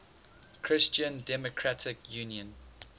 christian democratic union